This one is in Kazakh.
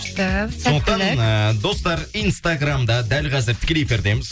күшті сәттілік сондықтан ыыы достар инстаграмда дәл қазір тікелей эфирдеміз